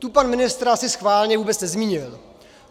Tu pan ministr asi schválně vůbec nezmínil.